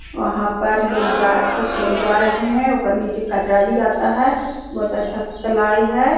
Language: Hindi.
वहाँ पर लोग जा कुछ लोग जा रहे है ओकर नीचे कचरा बिगाता है बहुत अच्छा तलाई है।